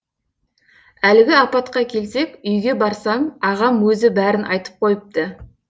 әлгі апатқа келсек үйге барсам ағам өзі бәрін айтып қойыпты